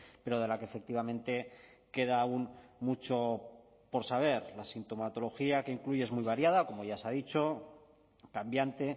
pero de la que efectivamente queda aún mucho por saber la sintomatología que incluye es muy variada como ya se ha dicho cambiante